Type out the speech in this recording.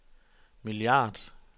milliard